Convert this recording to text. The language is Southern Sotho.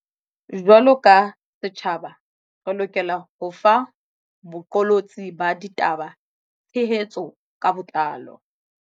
Jwaloka setjhaba, re lokela ho fa boqolotsi ba ditaba tshe hetso ka botlalo.